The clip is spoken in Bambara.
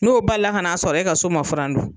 N'o balila kan'a sɔrɔ e ka so ma furan dun